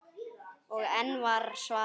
Og enn var svarað: